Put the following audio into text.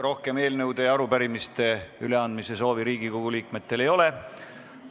Rohkem eelnõude ja arupärimiste üleandmise soovi ei ole.